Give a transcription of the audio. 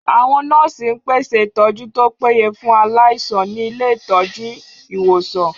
Àwọn nọ́ọ̀sì ń pèsè ìtọ́jú tó péye fún aláìsàn ní ilé ìtọ́jú/ ìwòsàn